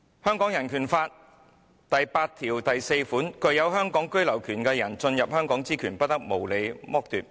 香港人權法案第八條第四款訂明："具有香港居留權的人進入香港之權，不得無理褫奪。